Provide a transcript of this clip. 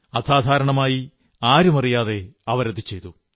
അസാധാരണമായി ആരുമറിയാതെ അവർ അത് ചെയ്തു